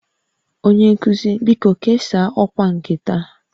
Onye nkuzi, biko kesaa ọkwa nke taa